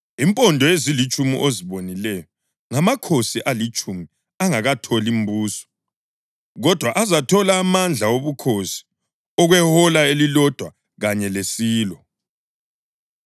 Impondo ezilitshumi ozibonileyo ngamakhosi alitshumi angakatholi mbuso, kodwa azathola amandla obukhosi okwehola elilodwa kanye lesilo.